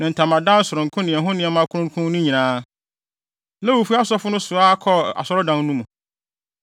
ne ntamadan sononko ne ɛho nneɛma kronkron no nyinaa. Lewifo asɔfo no soa kɔɔ Asɔredan no mu.